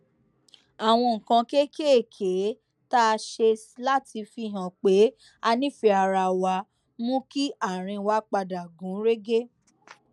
àwọn nǹkan kéékèèké tá a ṣe láti fihàn pé a nífèé ara wa mú kí àárín wa padà gún régé